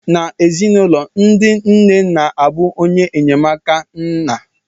N'ezinụlọ, ndị nne na-abụ onye enyemaka nye nna